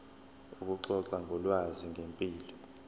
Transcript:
ukuxoxa ngolwazi ngempilo